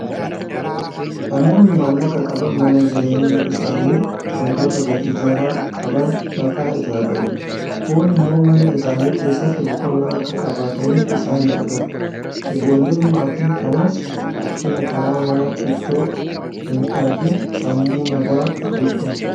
Namoonni maallaqa qaban mana jireenyaa isaanii waantota gatii jabaa qaban irraa ijaarratu. Kun immoo mana isaanii keessatti boqonnaa akka qabaataniif isaan gargaara. Ijoolleen maatii kanaas rakkina karaa manaa itoo hin argin sammuu nagaa guddattu.